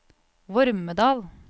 Vormedal